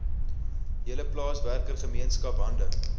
hele plaaswerkergemeenskap hande